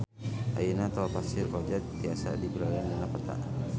Ayeuna Tol Pasir Koja tiasa dipilarian dina peta